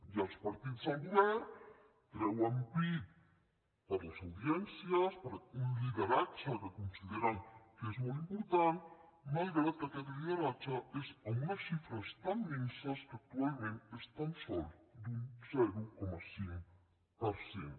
i els partits del govern treuen pit per les audiències per un lideratge que consideren que és molt important malgrat que aquest lideratge és amb unes xifres tan minses que actualment és tan sols d’un zero coma cinc per cent